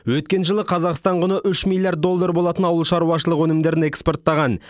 өткен жылы қазақстан құны үш миллирард доллар болатын ауыл шаруашылығы өнімдерін экспорттаған